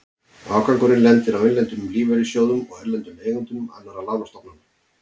Afgangurinn lendir á innlendum lífeyrissjóðum og erlendum eigendum annarra lánastofnana.